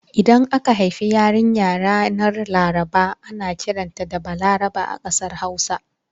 Idan aka haifi yarinya ranar Laraba ana kiranta da 'Balaraba' a kasar Hausa.